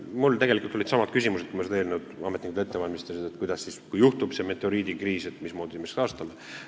Mul olid tegelikult samad küsimused, kui ametnikud seda eelnõu ette valmistasid, et kui juhtub see meteoriidikriis, mismoodi me siis õiguse taastame.